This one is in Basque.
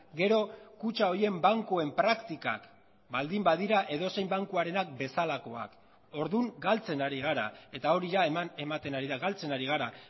gero kutxa horien bankuen praktikak baldin badira edozein bankuarenak bezalakoak orduan galtzen ari gara eta hori eman ematen ari da galtzen ari gara